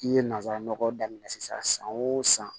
I ye nanzara nɔgɔ daminɛ sisan san o san